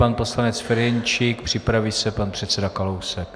Pan poslanec Ferjenčík, připraví se pan předseda Kalousek.